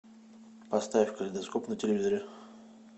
поставь калейдоскоп на телевизоре